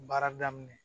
Baara daminɛ